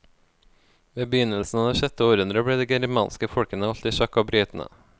Ved begynnelsen av det sjette århundre ble de germanske folkene holdt i sjakk av britene.